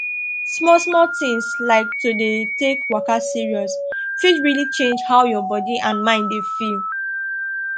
small small things like to dey take waka serious fit really change how your body and mind dey feel